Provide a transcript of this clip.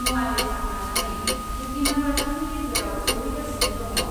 मुवा बेसाद लानानै भुगिनांग्राफोरनि गेजेराव सौहैगासिनो दङ।